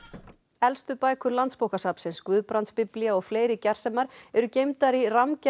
elstu bækur Landsbókasafnsins Guðbrandsbiblía og fleiri gersemar eru geymdar í